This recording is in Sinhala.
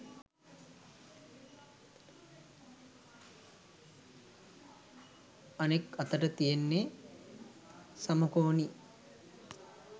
අනෙක් අතට තියෙන්නෙ සමකෝණී